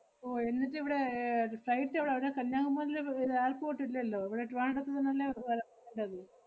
ഓ എന്നിട്ടിവടെ ഏർ അത് flight എവടാ? അവടെ കന്യാകുമാരില് വ്~ ഇത് അഹ് airport ഇല്ലല്ലോ ഇവടെ ട്രിവാൻഡ്രത്ത് നിന്നല്ലേ വ~ ണ്ടത്?